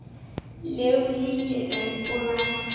leo le ile la ipolaya